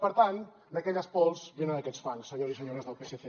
per tant d’aquelles pols venen aquests fangs senyors i senyores del psc